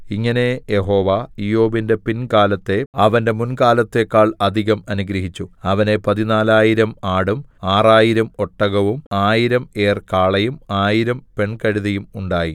ഇങ്ങനെ യഹോവ ഇയ്യോബിന്റെ പിൻകാലത്തെ അവന്റെ മുൻകാലത്തെക്കാൾ അധികം അനുഗ്രഹിച്ചു അവന് പതിനാലായിരം ആടും ആറായിരം ഒട്ടകവും ആയിരം ഏർ കാളയും ആയിരം പെൺകഴുതയും ഉണ്ടായി